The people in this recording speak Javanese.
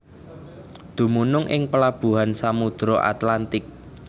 Dumunung ing pelabuhan Samudra Atlantik